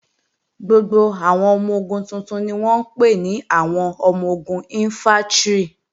Gbogbo àwọn ọmọ-ogun tuntun ni wọ́n ń pè ní àwọn ọmọ-ogun Ìnfántrì